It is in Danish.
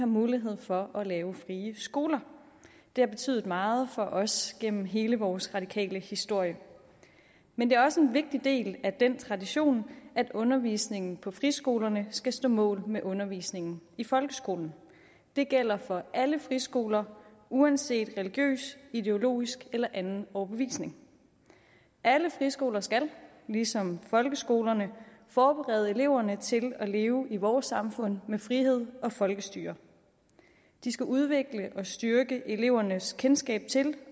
mulighed for at lave frie skoler det har betydet meget for os gennem hele vores radikale historie men det er også en vigtig del af den tradition at undervisningen på friskolerne skal stå mål med undervisningen i folkeskolen det gælder for alle friskoler uanset religiøs ideologisk eller anden overbevisning alle friskoler skal ligesom folkeskolerne forberede eleverne til at leve i vores samfund med frihed og folkestyre de skal udvikle og styrke elevernes kendskab til